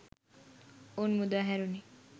ඔවුන් මුදාහැරුණි